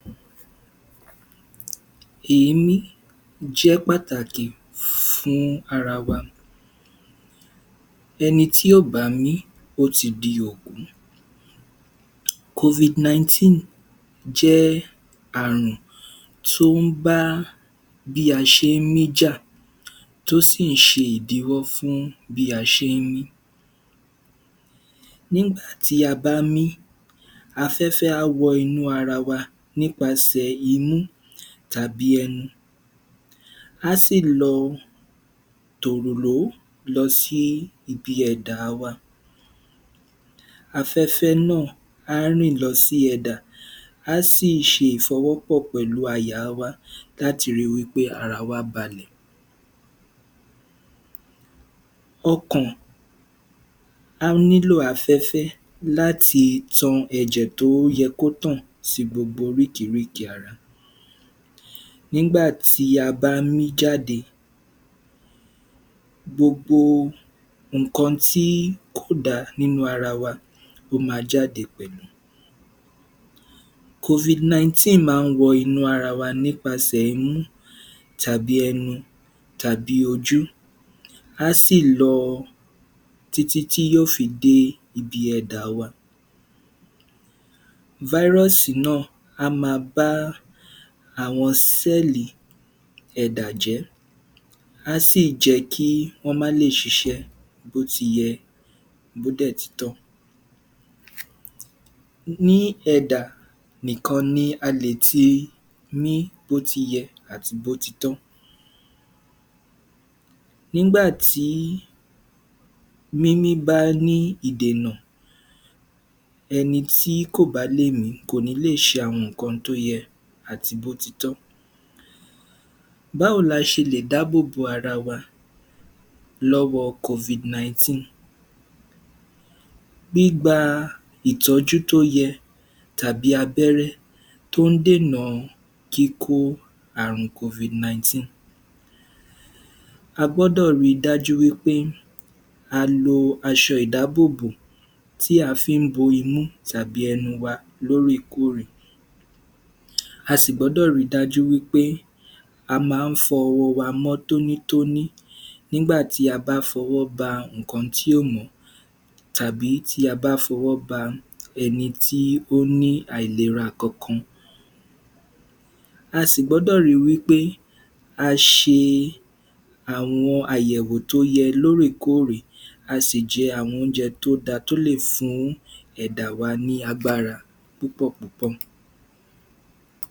Èémí jẹ́ pàtàkì fún ara wa, ẹni tí ò bá mí, ó ti di okú. (Covid-19) jẹ́ àrùn tó ń bá bí a ṣe ń mí jà, tó sì ń ṣe ìdíwọ́ fún bí a ṣe ń mí. Nígbà tí a bá mí afẹ́fẹ́ á wọ inú ara wa nípasẹ̀ inú tàbí ẹnu, a sì lọ tòòrò lọ sí ibi ẹ̀dà wa, afẹ́fẹ́ náà á rìn lọ sí ẹdà á sì ṣe ìfọwọ́pọ̀ pẹ̀lú àyà wa láti rí pé ara wa balẹ̀. Ọkàn á nílò afẹ́fẹ́ láti tan ẹ̀jẹ̀ tó yẹ kó tàn sí gbogbo oríkeríke ara. Nígbà tí a bá mí jáde gbogbo nǹkan tí kò da nínú ara wa ló ma jáde pẹ̀lú. (Covid-19) máa ń wọ inú ara wa nípasẹ̀ inú tàbí ẹnu tàbí ojú, á sì lọ títí tí yó fi dé ibi ẹdà wa. (Virus) náà á ma bá àwọn (Cell) ẹ̀dà jẹ́, á sì jẹ́ kí wọ́n lè ṣiṣẹ́ bó ti yẹ, bó dẹ̀ ti tọ́. Ní ẹ̀dà nìkan ni a lè ti mí bó ti yẹ àti bó ti tọ́. Nígbà tí mímí bá ní ìdènà, ẹni tí kò bá lè mí, kò ní lè ṣe àwọn nǹkan tó yẹ àti bó ti tọ́. Báwo la ṣe lè dábòbò ara wa lọ́wọ (Covid-19), gbigba ìtọ́jú tó yẹ tàbí abẹẹrẹ tó ń dènà kíkó àrùun (Covid-19). A gbọ́dọ̀ ri dájú wí pé a lo aṣọ ìdábòbò tí a fí ń bo imú tàbí ẹnu wa lóòrè-kóòrè, a sì gbọ́dọ̀ rí dájú wí pé a máa ń fọ ọwọ mọ tóní-tóní nigbà tí a bá fọwọ́ bá ṣe nǹkan tì ò mọ́ tàbí ta bá fọwọ ba ẹni tí ó ní àìlera kan kan, a sì gbọ́dọ̀ ri wí pé a ṣe àwọn àyẹ̀wò tó yẹ lóòrè kóòrè, a sì jẹ àwọn oúnjẹ tó da tó lè fún ẹ̀dà wa ní agbára púpọ̀ púpọ̀.